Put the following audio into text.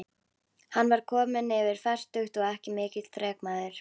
Hann var kominn yfir fertugt og ekki mikill þrekmaður.